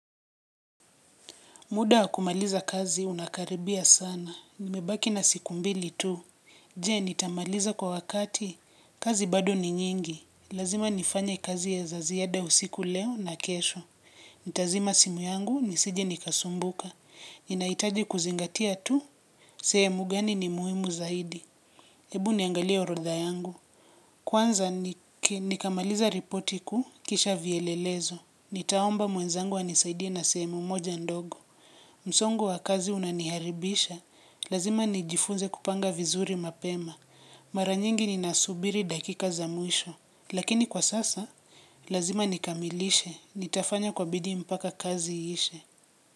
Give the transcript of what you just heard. Muda wa kumaliza kazi unakaribia sana. Nimebaki na siku mbili tu. Je nitamaliza kwa wakati. Kazi bado ni nyingi. Lazima nifanye kazi ya za ziada usiku leo na kesho. Nitazima simu yangu nisije nikasumbuka. Inahitaji kuzingatia tu. Sehemu gani ni muhimu zaidi. Hebu niangalie orodha yangu. Kwanza nikamalize ripoti kuu kisha vielelezo. Nitaomba mwenzangu anisaidie na sehemu moja ndogo. Msongo wa kazi unaniharibisha lazima nijifunze kupanga vizuri mapema. Mara nyingi ninasubiri dakika za mwisho lakini kwa sasa lazima nikamilishe nitafanya kwa bidii mpaka kazi iishe.